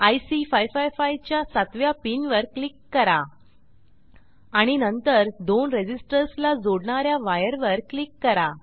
IC 555 च्या सातव्या pin वर क्लिक करा आणि नंतर दोन रेझिस्टर्स ला जोडणा या वायर वर क्लिक करा